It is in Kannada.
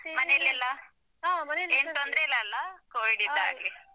ಮನೆಯಲ್ಲೆಲ್ಲಾ? ಏನ್ ತೊಂದ್ರೆ ಇಲ್ಲಅಲ್ಲಾ covid ಯಿಂದಾಗಿ.